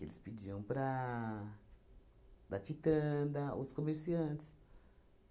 Eles pediam para da quitanda, os comerciantes.